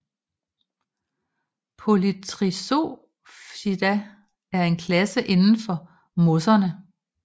Polytrichopsida er en klasse inden for mosserne